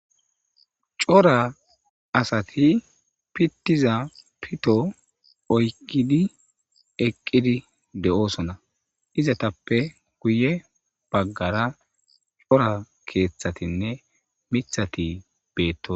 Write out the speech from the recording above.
Cora asati pitiza pito oykidi eqidi de'osona izetape guye bagara cora keethatinne mithati beetosona